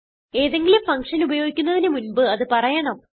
ഏതെങ്കിലും ഫങ്ഷൻ ഉപയോഗിക്കുന്നതിന് മുൻപ് അത് പറയണം